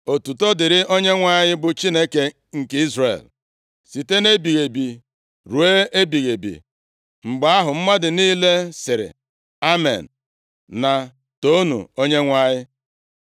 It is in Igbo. Otuto dịrị Onyenwe anyị, bụ Chineke nke Izrel, site nʼebighị ebi ruo ebighị ebi. Mgbe ahụ, mmadụ niile sịrị, “Amen” na “Toonu Onyenwe anyị.”